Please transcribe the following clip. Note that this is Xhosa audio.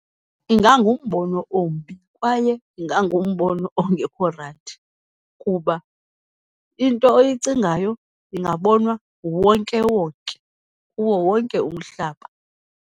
Ingangumbono ombi, kwaye ingangumbono ongekho rayithi, kuba into oyicingayo ingabonwa nguwonkewonke kuwo wonke umhlaba.